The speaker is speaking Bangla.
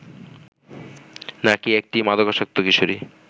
নাকি একটি মাদকাসক্ত কিশোরী